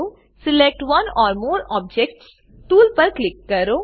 select one or more objects tool પર click કરો